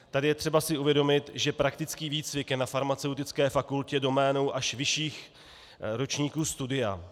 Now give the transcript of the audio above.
Tady je třeba si uvědomit, že praktický výcvik je na farmaceutické fakultě doménou až vyšších ročníků studia.